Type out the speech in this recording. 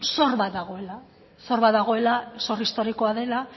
zor bat dagoela zor bat dagoela zor historikoa dela